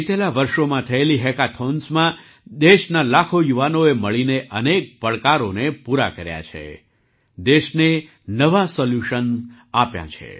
વિતેલાં વર્ષોમાં થયેલી હેકાથૉન્સમાં દેશના લાખો યુવાનોએ મળીને અનેક પડકારોને પૂરા કર્યા છે દેશને નવાં સૉલ્યૂશન આપ્યાં છે